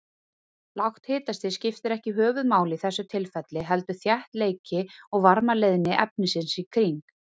Lágt hitastig skiptir ekki höfuðmáli í þessu tilfelli, heldur þéttleiki og varmaleiðni efnisins í kring.